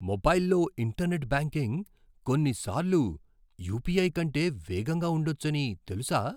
మొబైల్లో internet banking కొన్నిసార్లు UPI కంటే వేగంగా ఉండొచ్చని తెలుసా?